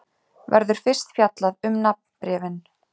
Verður fyrst fjallað um nafnbréfin.